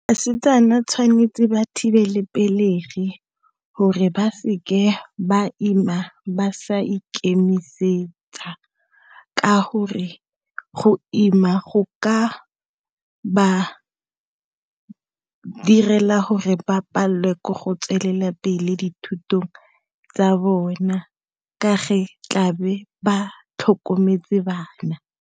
Basetsana tshwanetse ba thibele pelegi gore ba seke ba ima ba sa ikemisetsa. Ka gore go ima go ka ba direla gore ba palelwe ke go tswelela pele dithutong tsa bone tla be ba tlhokometse bana.